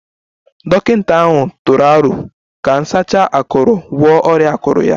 Dọkịta ahụ tụrụ aro ka nsacha akuru gwọọ ọrịa akụrụ ya